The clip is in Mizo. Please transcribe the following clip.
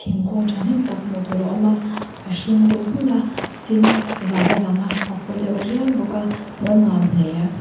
thingkung thahnem tak hmuh tur a awm a a hring deuh nghulh a tin van a lang a a paw deuh riai bawk a hmuh a nuam hle.